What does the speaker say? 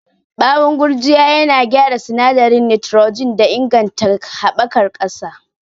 Bawon gurjiya yana gyara sinadarin nitrogen da inganta haɓakar ƙasa.